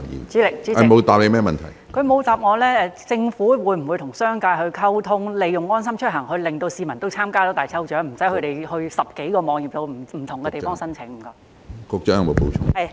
主席，她沒有回答我，政府會否與商界溝通，令市民能夠利用"安心出行"參加大抽獎，而無需分別到10多個網頁及不同地方申請？